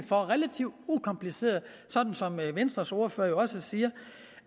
for relativt ukompliceret sådan som venstres ordfører jo også siger